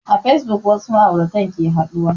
A fasebuk wasu ma'auratan ke haɗuwa